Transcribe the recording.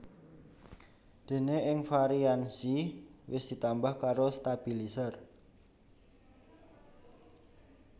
Déné ing varian Xi wis ditambah karo stabilizer